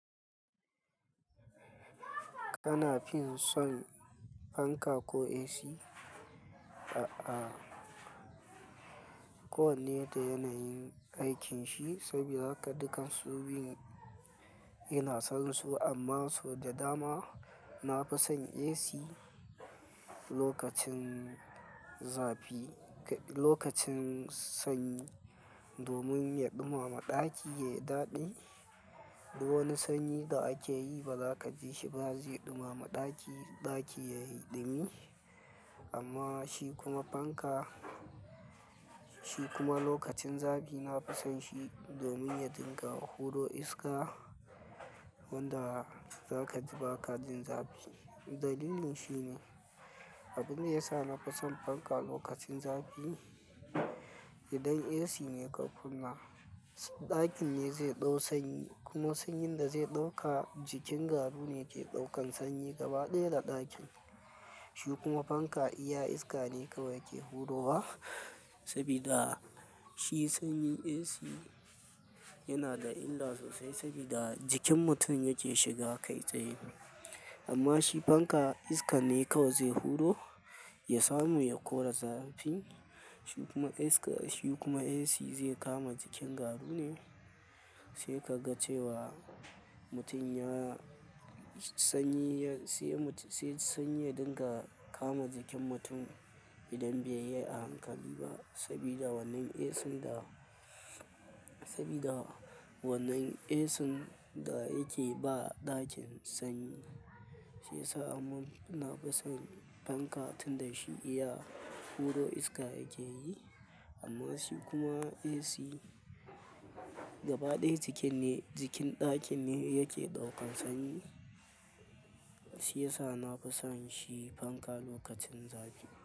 Kana fin son fanka ko AC? A'a, kowanne da yanayin aikin shi saboda haka dukan su biyun ina son su amma sau da dama nafi son AC lokacin zafi-- lokacin sanyi domin ya ɗumama ɗaki yayi daɗi. Wani sanyi da ake yi ba za ka ji shi ba zai ɗumama ɗaki, ɗaki ya yi dumi. Amma shi kuma fanka, shi kuma lokacin zafi nafison shi domin ya dinga huro iska wanda zaka ji ba ka jin zafi. Dalilin shi ne, abin da ya sa nafison fanka lokacin zafi idan AC ne ka kunna, ɗakin ne zai ɗau sanyi kuma sanyin da zai ɗauka jikin garu ne ke ɗaukan sanyi gaba ɗaya da ɗakin. Shi kuma fanka iya iska ne kawai yake hurowa sabida shi sanyi AC yana da illa sosai sabida jikin mutum yake shiga kai tsaye. Amma shi fanka iskan ne kawai zai huro, ya samu ya kora zafin. Shi kuma iska-- shi kuma AC zai kama jikin garu ne, sai ka ga cewa mutum ya-- sanyi ya-- sai-- sai sanyi ya dinga kama jikin mutum idan bai yi a hankali ba sabida wannan AC da, sabida wannan AC da yake ba ɗakin sanyi shiyasa amma nafison fanka tunda shi iya huro iska yake yi. Amma shi kuma AC gaba ɗaya jikin ne, jikin ɗakin ne yake ɗaukan sanyi shiyasa nafison shi fanka lokacin zafi.